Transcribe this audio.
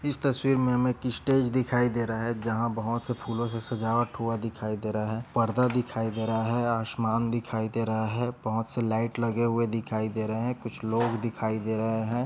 इस तस्वीर में हमे एक स्टेज दिखाई दे रहा है जहाँ बहुत से फूलोंसे सजावट हुआ दिखाई दे रहा है परदा दिखाई दे रहा है आसमान दिखाई दे रहा है बहुत से लाइट लगे हुए दिखाई दे रहे है कुछ लोग दिखाई दे रहे है।